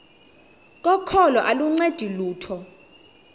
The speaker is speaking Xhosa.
kokholo aluncedi lutho